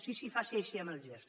sí sí faci així amb el gest